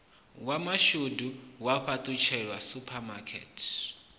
wa mashudu wa fhaṱelwa suphamakete